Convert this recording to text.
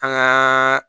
An gaa